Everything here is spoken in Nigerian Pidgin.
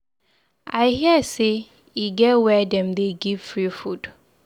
I hear say e get where dem dey give free food